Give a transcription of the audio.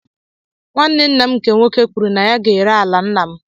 Nwanne nna m nke nwoke kwuru na ya ga-ere ala nna m.